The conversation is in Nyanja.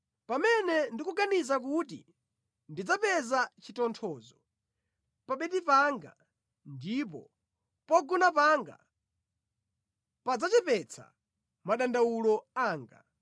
Pamene ndikuganiza kuti ndidzapeza chitonthozo pa bedi panga ndipo pogona panga padzachepetsa madandawulo anga,